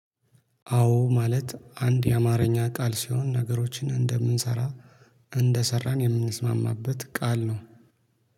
አዎ ማለት አንድ የአማርኛ ቃል ሲሆን ነገሮችን እንደምንሰራ እንደሰራን የምንስማማበት ቃል ነው።